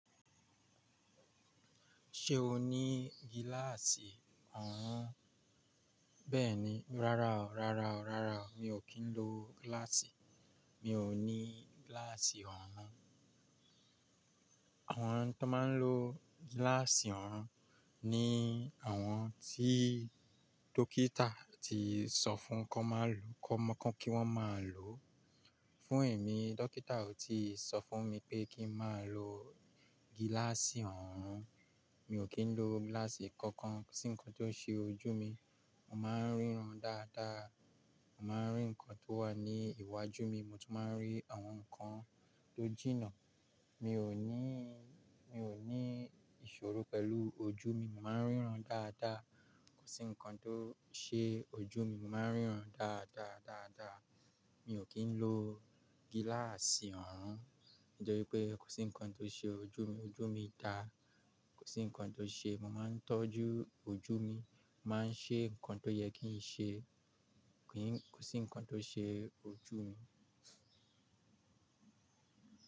Ṣé o ní gíláàsì ọ̀hún? Bẹ́ẹ̀ni, rárá o, rárá o, rárá o. Mi ò kí ń lo gíláàsì. Mi ò ní gíláàsì ọ̀hún. Àwọn tó máa ń lo gíláàsì ọ̀hún ni àwọn tí dókítà ti sọ fún kan má ló kan má kí wọ́n má lòó. Fún èmi, dókítà ò tí sọ fún mi pé kí n máa lo gíláàsì ọ̀hún. Mi ò kí ń lo gíláàsì kankan sí nǹkan tó ṣe ojú mi, mo máa ń ríran dáadáa. Mo máa ń rí nǹkan tó wà ní iwájú mi, mo tún máa ń rí àwọn nǹkan tó jìnnà. Mi ò níí, mi ò ní ìṣòro pẹ̀lú ojú mi, mo máa ń ríran dáadáa. Kò sí nǹkan tó ṣe ojú mi, mo máa ń ríran dáadáa, dáadáa. Mi ò kí ń lo gíláàsì ọ̀hún nítorí pé kò sí nǹkan tó ṣe ojú mi. Ojú mi dáa, kò sí nǹkan tó ṣe. Mo máa ń tọ́jú ojú mi, màá ń ṣe nǹkan tó yẹ kí n ṣe, kì í kò sí nǹkan tó ṣe ojú mi.